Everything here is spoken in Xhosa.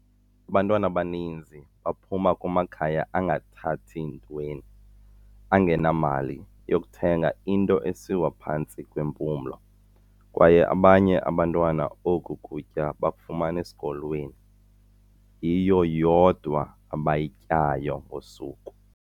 "Abantwana abaninzi baphuma kumakhaya angathathi ntweni, angenamali yokuthenga into esiwa phantsi kwempumlo, kwaye abanye abantwana oku kutya bakufumana esikolweni, yiyo yodwa abayityayo ngosuku."